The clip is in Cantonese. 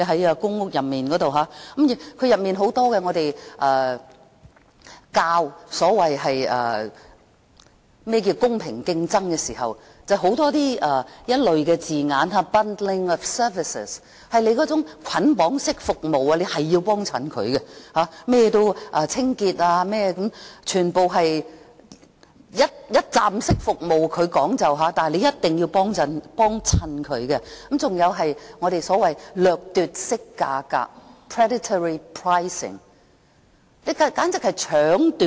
在公屋內，當我們推廣何謂"公平競爭"時，卻有很多這類的字眼，例如捆綁式服務，我們一定要光顧它的清潔服務等，全部都是它所謂的"一站式服務"，你一定要光顧它；還有所謂的"掠奪式價格"，簡直是搶奪。